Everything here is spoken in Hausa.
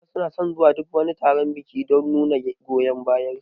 Mata suna son zuwa duk wani taron biki don nuna goyon bayar su